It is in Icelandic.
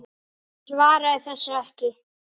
Svaraði þessu ekki.